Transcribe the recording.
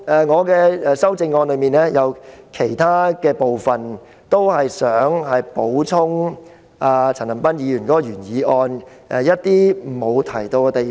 我的修正案提出的其他建議，旨在補充陳恒鑌議員的原議案沒有提及的地方。